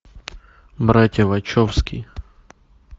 братья вачовски